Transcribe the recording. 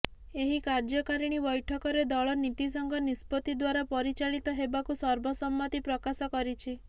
ଏହି କାର୍ଯ୍ୟକାରିଣୀ ବୈଠକରେ ଦଳ ନୀତୀଶଙ୍କ ନିଷ୍ପତ୍ତି ଦ୍ୱାରା ପରିଚାଳିତ ହେବାକୁ ସର୍ବସମ୍ମତି ପ୍ରକାଶ କରିଛି